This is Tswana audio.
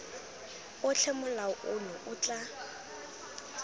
otlhe molao ono o tla